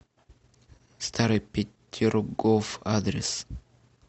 старый петергоф адрес